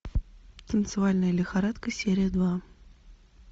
танцевальная лихорадка серия два